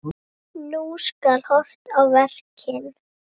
Nú skal horft á verkin.